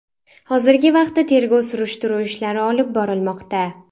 Hozirgi vaqtda tergov-surishtiruv ishlari olib borilmoqda.